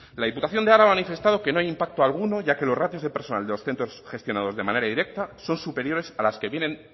la diputación de araba ha manifestado que no hay impacto alguno ya que los ratios de personal de los centros gestionados de manera directa son superiores a las que vienen